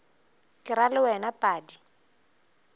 ke ra le wena padi